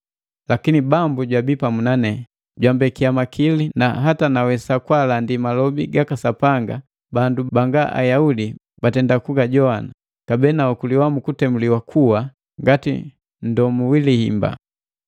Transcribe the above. Lakini Bambu jwabii pamu nane, jambekiya makili na hata nawesa kulandi malobi gaka Sapanga, bandu banga Ayaudi bagajowana, kabee naokuliwa mu kutemuliwa kuwa ngati nndomu wi lihimba.